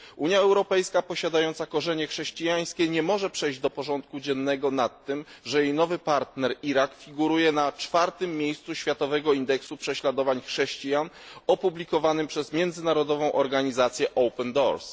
Unia Europejska posiadająca korzenie chrześcijańskie nie może przejść do porządku dziennego nad tym, że jej nowy partner Irak figuruje na czwartym miejscu światowego indeksu prześladowań chrześcijan opublikowanego przez międzynarodową organizację Open Doors.